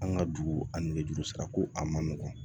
An ka dugu ani nɛgɛjuru sira ko a ma nɔgɔn